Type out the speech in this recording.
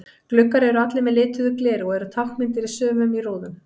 Gluggar eru allir með lituðu gleri og eru táknmyndir í sumum í rúðum.